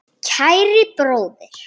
Kæri bróðir.